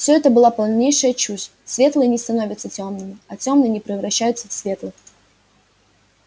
все это была полнейшая чушь светлые не становятся тёмными а тёмные не превращаются в светлых